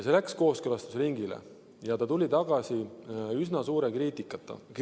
See läks kooskõlastusringile ja tuli tagasi üsna suure kriitikaga.